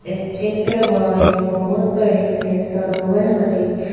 इस चित्र वह एक बहोत बड़े से सरोवर हरे--